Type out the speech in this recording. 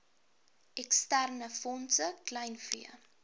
eksterne fondse kleinvee